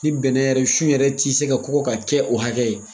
Ni bɛnɛ yɛrɛ sun yɛrɛ ti se ka kɔkɔ ka kɛ o hakɛ ye